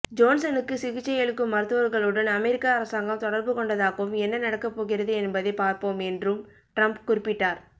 ஜோன்சனுக்கு சிகிச்சையளிக்கும் மருத்துவர்களுடன் அமெரிக்க அரசாங்கம் தொடர்பு கொண்டதாகவும் என்ன நடக்கப்போகிறது என்பதை பார்ப்போம் என்றும் ட்ரம்ப் குறிப்பிட்டார்